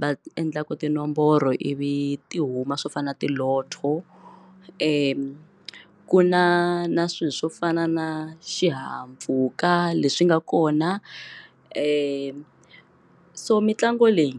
va endlaka tinomboro ivi ti huma swo fana na ti lotto ku na ku na swilo swo fana na xihahampfhuka leswi nga kona so mitlangu leyi.